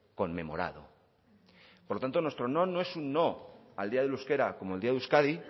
conmemorado por lo tanto nuestro no no es un no al día del euskera como el día de euskadi